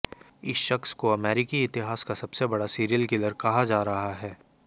इस शख्स को अमेरिकी इतिहास का सबसे बड़ा सीरियल किलर कहा जा रहा है